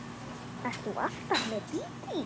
Ert þú alltaf með Dídí?